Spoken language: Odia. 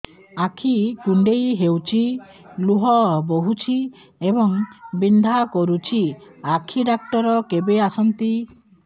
ଆଖି କୁଣ୍ଡେଇ ହେଉଛି ଲୁହ ବହୁଛି ଏବଂ ବିନ୍ଧା କରୁଛି ଆଖି ଡକ୍ଟର କେବେ ଆସନ୍ତି